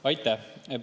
Aitäh!